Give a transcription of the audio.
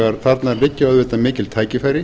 þarna liggja auðvitað mikil tækifæri